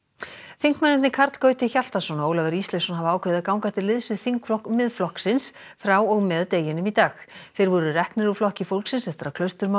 þingmennirnir Karl Gauti Hjaltason og Ólafur Ísleifsson hafa ákveðið að ganga til liðs við þingflokk Miðflokksins frá og með deginum í dag þeir voru reknir úr Flokki fólksins eftir að